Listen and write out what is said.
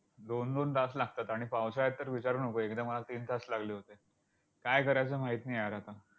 दोन दोन तास लागतात. आणि पावसाळ्यात तर विचारू नकोस. एकदा मला तीन तास लागले होते. काय करायचं माहित नाही यार आता?